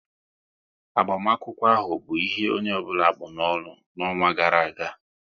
Agbamakwụkwọ ahụ bụ ihe onye ọbụla kpụ n'ọnụ n'ọnwa gara aga